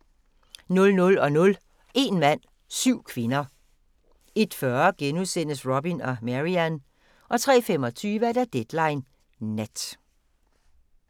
00:00: Een mand – syv kvinder 01:40: Robin og Marian * 03:25: Deadline Nat